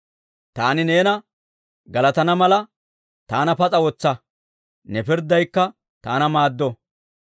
Taani neena galatana mala, taana pas'a wotsa; ne pirddaykka taana maaddo.